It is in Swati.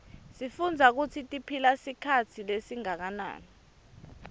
sifuitbza kutsitiphila sikhatsi lesinganani